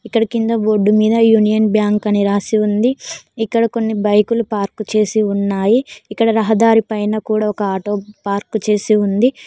ఇక్కడ కింద బోర్డు మీద యూనియన్ బ్యాంక్ అని రాసి ఉంది ఇక్కడ కొన్ని బైకులు పార్కు చేసి ఉన్నాయి ఇక్కడ రహదారి పైన కూడా ఒక ఆటో పార్కు చేసి ఉంది.